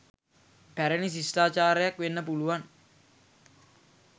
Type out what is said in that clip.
පැරණි ශිෂ්ටාචාරයක් වෙන්න පුළුවන්.